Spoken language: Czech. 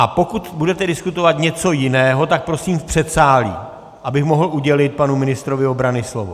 A pokud budete diskutovat něco jiného, tak prosím v předsálí, abych mohl udělit panu ministrovi obrany slovo.